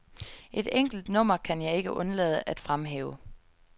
Et enkelt nummer kan jeg ikke undlade at fremhæve.